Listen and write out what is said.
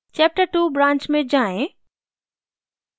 chaptertwo branch में जाएँ